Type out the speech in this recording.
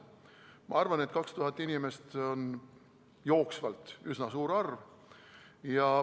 Ma arvan, et 2000 inimest on üsna suur arv.